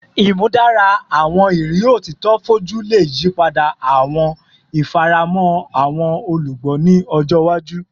Imudara awọn iriri otito foju le yipada awọn ifaramọ awọn olugbo ni ọjọ iwaju